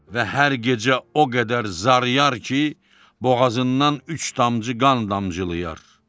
Və hər gecə o qədər zarıyar ki, boğazından üç damcı qan damcılayar.